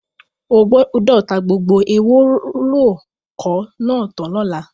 O gbọ́dọ̀ ta gbogbo ewóròkọ́ náà tán lọ́la!